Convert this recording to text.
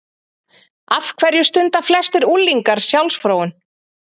Af hverju stunda flestir unglingar sjálfsfróun?